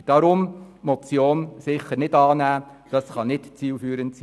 Darum ist die Motion sicher nicht anzunehmen, diese kann nicht zielführend sein.